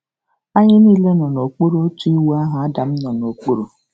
Anyị niile nọ n'okpuru otu iwu ahụ Adam nọ n'okpuru